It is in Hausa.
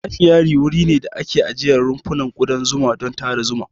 Apiary wuri ne da ake ajiye rumfunan kudan zuma don tara zuma.